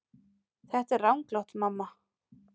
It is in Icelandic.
Þetta er ranglátt mamma.